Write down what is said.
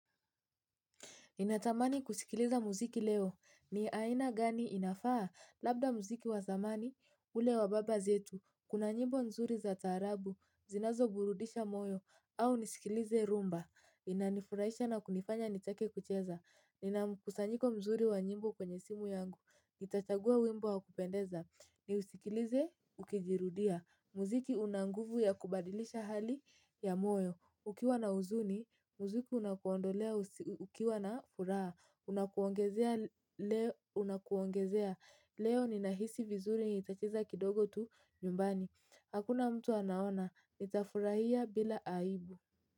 Ninatamani kusikiliza muziki leo, ni aina gani inafaa? Labda muziki wa zamani, ule wa baba zetu. Kuna nyimbo nzuri za tarabu zinazoburudisha moyo, au nisikilize rumba? Inanifurahisha na kunifanya nitake kucheza. Nina mkusanyiko mzuri wa nyimbo kwenye simu yangu, nitachagua wimbo wa kupendeza, niusikilize ukijirudia. Muziki una nguvu ya kubadilisha hali ya moyo. Ukiwa na huzuni, muziki unakuondolea, ukiwa na furaha unakuongezea. Leo ninahisi vizuri, nitacheza kidogo tu nyumbani. Hakuna mtu anaona, nitafurahia bila aibu.